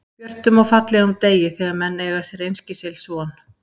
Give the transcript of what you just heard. björtum og fallegum degi, þegar menn eiga sér einskis ills von.